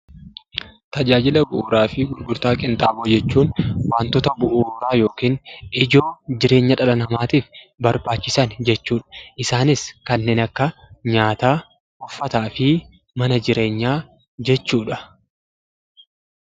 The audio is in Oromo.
Tajaajila bu'uuraa fi gurgurtaa qinxaamoo jechuun waantota bu'uuraa yookiin ijoo jireenya dhala namaatiif barbaachisan jechuudha. Isaanis kanneen akka nyaataa, uffataa fi mana jireenyaa jechuudha.